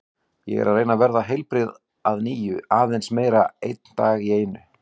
Ég er að reyna að verða heilbrigð að nýju, aðeins meira, einn dag í einu.